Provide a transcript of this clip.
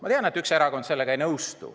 Ma tean, et üks erakond sellega ei nõustu.